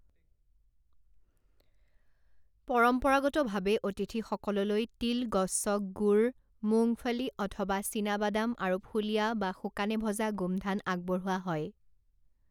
পৰম্পৰাগতভাৱে অতিথিসকললৈ তিল গচ্চক গুড় মুংগফলি অথবা চীনাবাদাম আৰু ফুলিয়া বা শুকানে ভজা গোমধান আগবঢ়োৱা হয়।